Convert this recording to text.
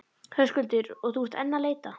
Höskuldur: Og þú ert enn að leita?